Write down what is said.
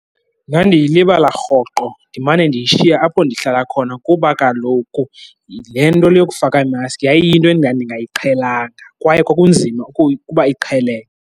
Ndandiyilibala rhoqo, ndimane ndiyishiya apho ndihlala khona kuba kaloku le nto le yokufaka imaski yayiyinto endingayiqhelanga kwaye kwakunzima ukuba iqheleke.